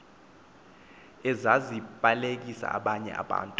ezazibalekisa abanye abantu